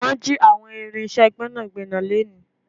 Wọn jì àwọn irinse Gbẹ́nàgbẹ́nà leni